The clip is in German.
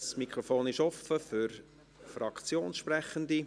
Das Mikrofon ist offen für Fraktionssprechende;